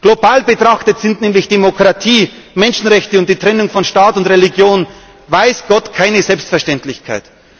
Global betrachtet sind nämlich Demokratie, Menschenrechte und die Trennung von Staat und Religion weiß Gott keine Selbstverständlichkeit.